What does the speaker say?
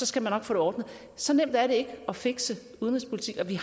skal man nok få det ordnet så nemt er det ikke at fikse udenrigspolitik og vi